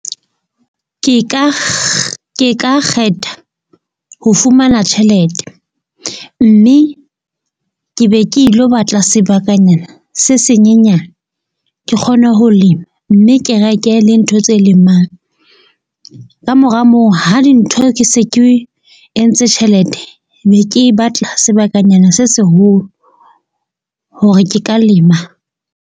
Ke ka ke ka kgetha ho fumana tjhelete mme ke be ke ilo batla sebakanyana se senyenyane, ke kgone ho lema. Mme ke reke le ntho tse lemang. Kamora moo ha dintho ke se ke entse tjhelete be ke batla sebakanyana se seholo, hore ke ka lema.